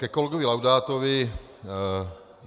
Ke kolegovi Laudátovi.